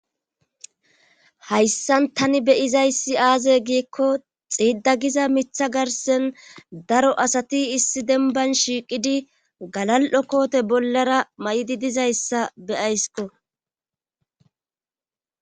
hayssan tani beyizayssi aaze giikko xiida giza mitha garsen daro asati issi denban shiiqidi galal7o koote bollara may7idi dizayssa beyaysko